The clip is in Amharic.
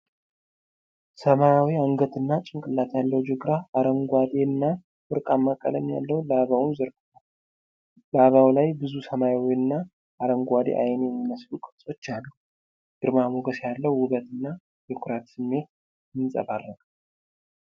ሰማያዊ አንገትና ጭንቅላት ያለው ጅግራ አረንጓዴና ወርቃማ ቀለም ያለውን ላባውን ዘርግቷል። ላባው ላይ ብዙ ሰማያዊና አረንጓዴ ዓይን የሚመስሉ ቅርጾች አሉ። ግርማ ሞገስ ያለው ውበትና የኩራት ስሜት ይንጸባረቃል።